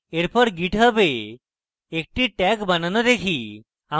এরপর github a একটি tag বানানো দেখি